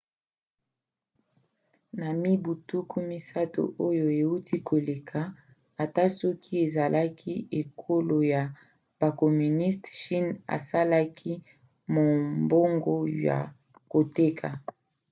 na mibu tuku misato oyo euti koleka ata soki ezalaki ekolo ya bacommuniste chine asalaki mombongo ya koteka